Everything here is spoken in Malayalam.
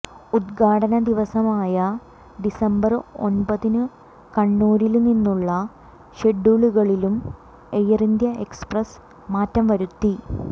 ഉദ്ഘാടന ദിവസമായ ഡിസംബര് ഒന്പതിനു കണ്ണൂരില് നിന്നുള്ള ഷെഡ്യൂളുകളിലും എയര്ഇന്ത്യാ എക്സ്പ്രസ് മാറ്റംവരുത്തി